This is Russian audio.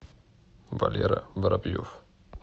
валера воробьев